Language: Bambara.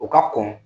O ka kɔn